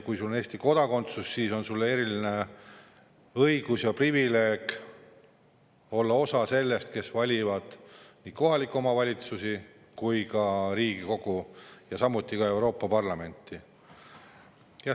Kui sul on Eesti kodakondsus, siis on sul eriline õigus ja privileeg olla nende hulgas, kes valivad nii kohaliku omavalitsuse kui ka Riigikogu ja samuti Euroopa Parlamenti.